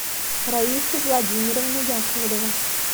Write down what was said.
раиса владимировна яковлева